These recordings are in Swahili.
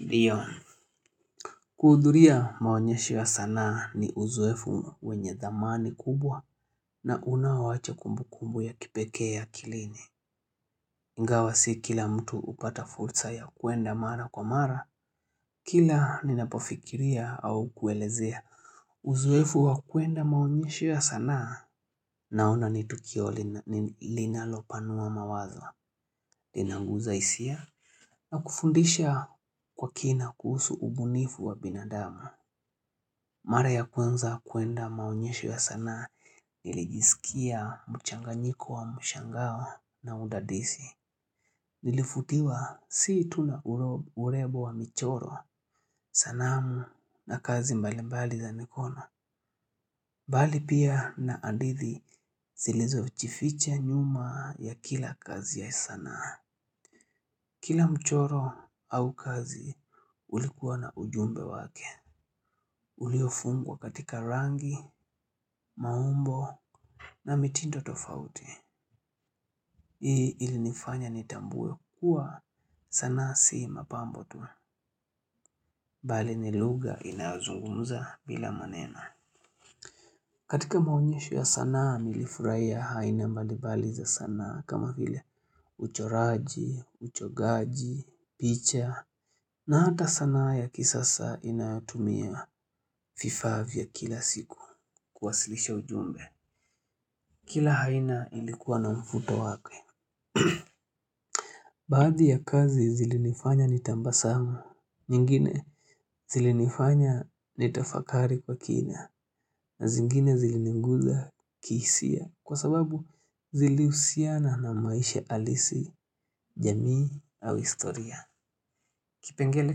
Ndio Kuudhuria maonyesho ya sanaa ni uzoefu wenye dhamani kubwa na unao acha kumbu kumbu ya kipekee akilini iNgawa si kila mtu upata fursa ya kuenda mara kwa mara Kila ninapofikiria au kuelezea Uzoefu wa kuenda maonyesho ya sanaa Naona ni tukio linalo panua mawazo linaguza hisia na kufundisha kwa kina kuhusu ubunifu wa binadamu Mara ya kanza kuenda maonyesho ya sanaa nilijisikia mchanganyiko wa mshangao na udadisi Nilifutiwa sii tuna urembo wa michoro sanamu na kazi mbali mbali za mikono bali pia na hadithi silizo jivichificha nyuma ya kila kazi ya sanaa Kila mchoro au kazi ulikuwa na ujumbe wake Uliofungwa katika rangi, maumbo na mitindo tofauti. Hii ilinifanya nitambue kuwa sana si mapambo tu. Bali ni lugha inayozungumza bila maneno katika maonyesho ya sanaa nilifurahia aina mbalimbali za sanaa kama vile uchoraji, uchongaji, picha. Na hata sanna ya kisasa inayotumia vifaa vya kila siku kuwasilisha ujumbe. Kila haina ilikuwa na mvuto wakwe Baaddi ya kazi zilinifanya nitabasamu nyingine zilinifanya nitafakari kwa kina na zingine zilininguza kihisia Kwa sababu ziliusiana na maisha alisi, jamii au historia Kipengele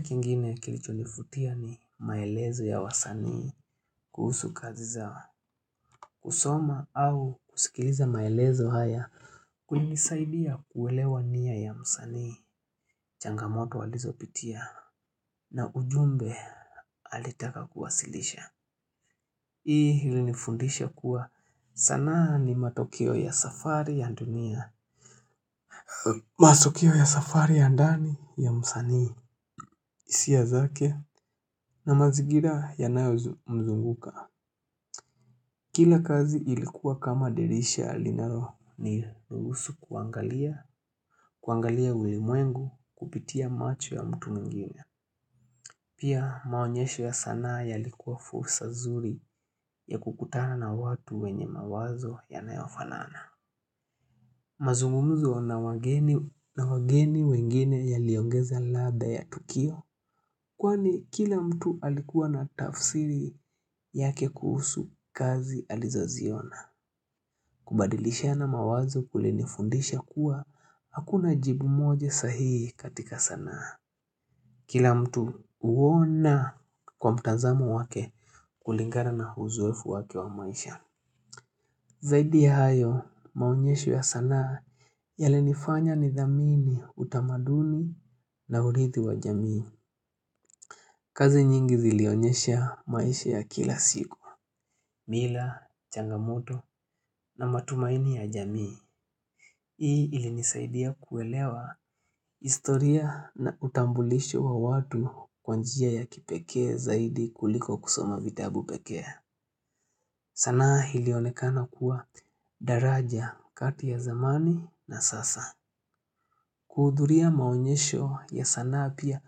kingine kilichonivutia ni maelezo ya wasanii kuhusu kazi zao kusoma au kusikiliza maelezo haya Kulinisaidia kuwelewa nia ya msanii changamoto walizopitia na ujumbe alitaka kuwasilisha Hii ilinifundisha kuwa sanaa ni matokeo ya safari ya dunia matokeo ya safari ya ndani ya msanii hisia zake na mazingira yanayo mzunguka Kila kazi ilikuwa kama dirisha linalo niruhusu kuangalia kuangalia ulimwengu kupitia macho ya mtu mwingine Pia maonyesho ya sanaa yalikuwa fursa zuri ya kukutana na watu wenye mawazo yanayofanana mazungumzo na wageni wengine yaliongeza radha ya tukio Kwani kila mtu alikuwa na tafsiri yake kuhusu kazi alizo ziona kubadilishana mawazo kulinifundisha kuwa hakuna jibu moja sahii katika sanaa Kila mtu uona kwa mtazamo wake kulingana na uzoefu wake wa maisha. Zaidi ya hayo maonyesho ya sanaa yalinifanya nidhamini utamaduni na urithi wa jamii. Kazi nyingi zilionyesha maisha ya kila siku. Mila, changamoto na matumaini ya jamii. Hii ilinisaidia kuelewa historia na utambulisho wa watu kwa njia ya kipekee zaidi kuliko kusoma vitabu pekee. Sanaa ilionekana kuwa daraja kati ya zamani na sasa. Kuudhuria maonyesho ya sanaa pia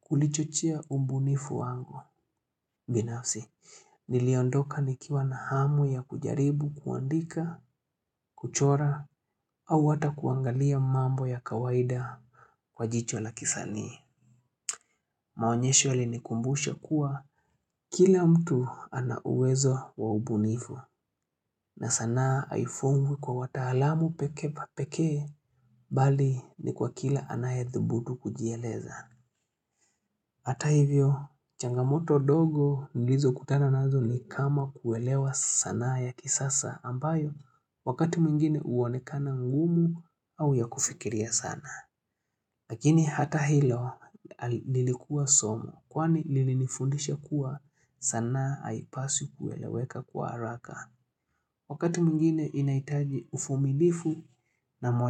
kulichochea ubunifu wangu. Binafsi, niliondoka nikiwa na hamu ya kujaribu kuandika, kuchora, au hata kuangalia mambo ya kawaida. Kwa jicho la kisanii, maonyesho yalinikumbusha kuwa kila mtu ana uwezo wa ubunifu. Na sanaa aifungwi kwa wataalamu pekee Bali ni kwa kila anayadhudu kujieleza Hata hivyo changamoto dogo nilizokutana nazo ni kama kuelewa sanaa ya kisasa ambayo Wakati mwingine uoanekana ngumu au ya kufikiria sana Lakini hata hilo lilikuwa somo Kwani lilifundisha kuwa sanaa aipaswi kueleweka kwa haraka Wakati mwingine inaitaji uvumilivu na moyo.